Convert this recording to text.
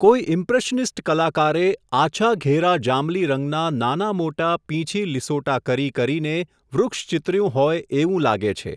કોઈ ઈમ્પ્રેશનિસ્ટ કલાકારે, આછા ઘેરા જાંબલી રંગના નાનામોટા પીંછી લિસોટા કરી કરીને વૃક્ષ ચીતર્યું હોય એવું લાગે છે.